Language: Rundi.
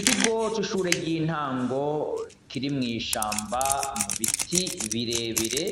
Ikigo c’ishure ry'intango rikiri mw'ishamba mubiti birebire